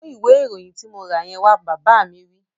Mú ìwé ìròyìn tí mo rà yẹn wá! Bàbá mi wí